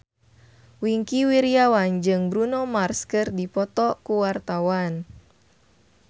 Wingky Wiryawan jeung Bruno Mars keur dipoto ku wartawan